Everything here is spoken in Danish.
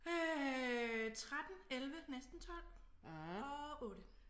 Øh 13 11 næsten 12 og 8